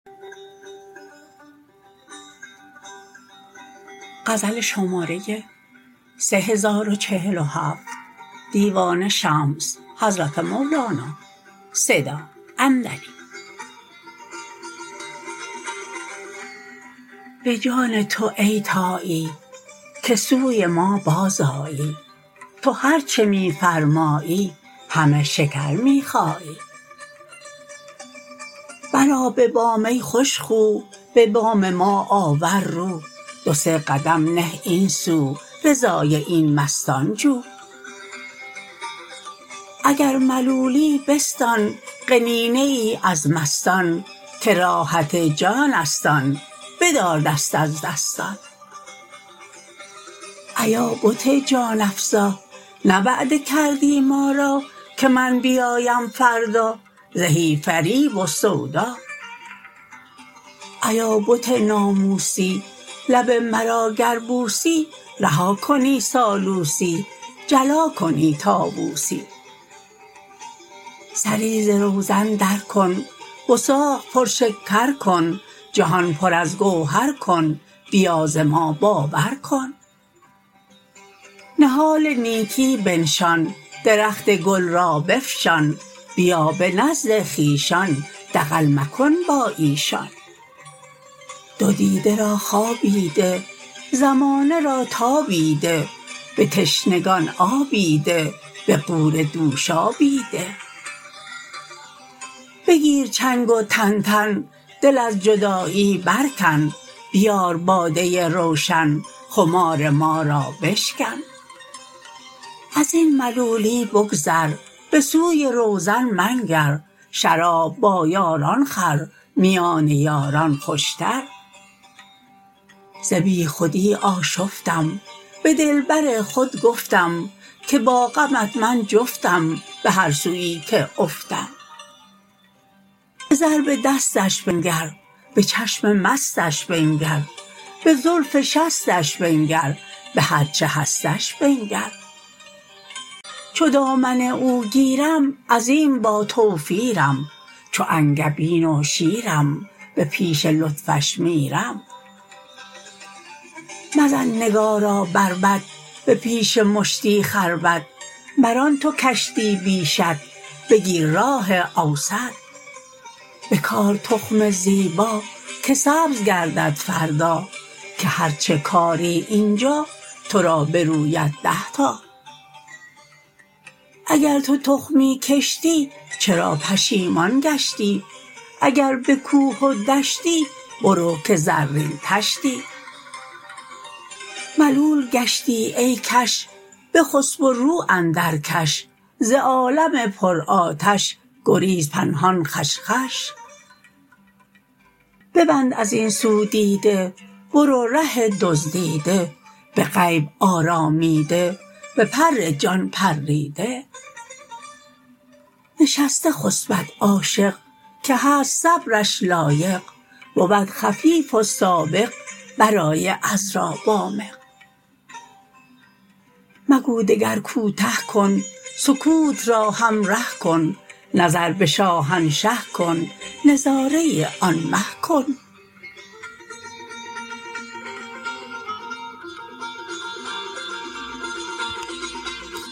به جان تو ای طایی که سوی ما بازآیی تو هر چه می فرمایی همه شکر می خایی برآ به بام ای خوش خو به بام ما آور رو دو سه قدم نه این سو رضای این مستان جو اگر ملولی بستان قنینه ای از مستان که راحت جانست آن بدار دست از دستان ایا بت جان افزا نه وعده کردی ما را که من بیایم فردا زهی فریب و سودا ایا بت ناموسی لب مرا گر بوسی رها کنی سالوسی جلا کنی طاووسی سری ز روزن درکن وثاق پرشکر کن جهان پر از گوهر کن بیا ز ما باور کن نهال نیکی بنشان درخت گل را بفشان بیا به نزد خویشان دغل مکن با ایشان دو دیده را خوابی ده زمانه را تابی ده به تشنگان آبی ده به غوره دوشابی ده بگیر چنگ و تنتن دل از جدایی برکن بیار باده روشن خمار ما را بشکن از این ملولی بگذر به سوی روزن منگر شراب با یاران خور میان یاران خوشتر ز بیخودی آشفتم به دلبر خود گفتم که با غمت من جفتم به هر سوی که افتم به ضرب دستش بنگر به چشم مستش بنگر به زلف شستش بنگر به هر چه هستش بنگر چو دامن او گیرم عظیم باتوفیرم چو انگبین و شیرم به پیش لطفش میرم مزن نگارا بربط به پیش مشتی خربط مران تو کشتی بی شط بگیر راه اوسط بکار تخم زیبا که سبز گردد فردا که هر چه کاری این جا تو را بروید ده تا اگر تو تخمی کشتی چرا پشیمان گشتی اگر به کوه و دشتی برو که زرین طشتی ملول گشتی ای کش بخسب و رو اندرکش ز عالم پرآتش گریز پنهان خوش خوش ببند از این سو دیده برو ره دزدیده به غیب آرامیده به پر جان پریده نشسته خسبد عاشق که هست صبرش لایق بود خفیف و سابق برای عذرا وامق مگو دگر کوته کن سکوت را همره کن نظر به شاهنشه کن نظاره آن مه کن